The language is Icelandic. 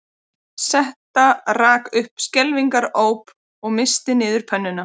Setta rak upp skelfingaróp og missti niður pönnuna